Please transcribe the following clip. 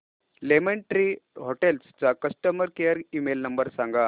lemon tree hotels चा customer care email number सांगा